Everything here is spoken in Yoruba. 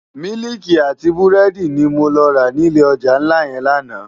Miliki àti búrédi ni mó rá ni ilé òjá nlá yèn làná